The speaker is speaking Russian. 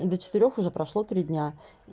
до четырёх уже прошло три дня